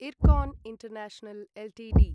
Ircon International Ltd